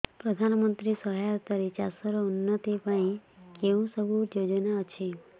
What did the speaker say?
ପ୍ରଧାନମନ୍ତ୍ରୀ ସହାୟତା ରେ ଚାଷ ର ଉନ୍ନତି ପାଇଁ କେଉଁ ସବୁ ଯୋଜନା ଅଛି